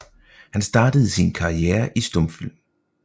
Han startede sin karriere i stumfilm